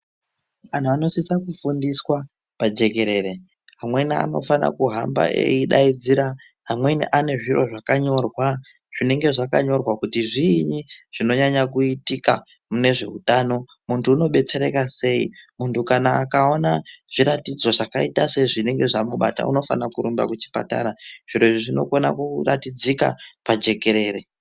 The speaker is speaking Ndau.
Antu anosise kufundiswa pajekerere, amweni anofana kuhamba eidaidzira, amweni anezviro zvakanyorwa, zvinenge zvakanyorwa kuti zviinyi zvinonyanya kuitika munezveutano, muntu unodetsereka sei. Muntu kana akaona zviratidzo zvakaita sezvinenge zvamubata unofane kurumba kuchipatara. Zviro izvi zvinokone kuratidzika pajekerere.